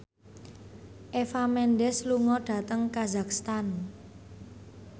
Eva Mendes lunga dhateng kazakhstan